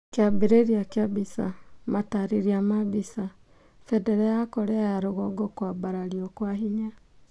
Kiambiria kĩa mbica, mataareria ma mbica. Bendera ya Korea ya rũgongo kũambarario kwa hinya.